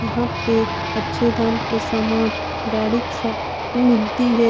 यहाँ पे अच्छे दाम पे सामान गाड़ी सब मिलती है |